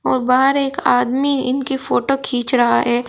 और बाहर एक आदमी इनकी फोटो खींच रहा है।